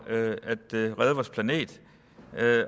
at redde vores planet